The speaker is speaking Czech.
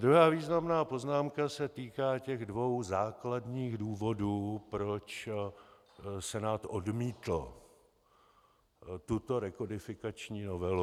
Druhá významná poznámka se týká těch dvou základních důvodů, proč Senát odmítl tuto rekodifikační novelu.